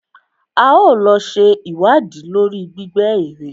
A ó lọ ṣe ìwádìí lórí gbígbẹ́ èrè.